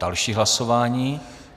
Další hlasování.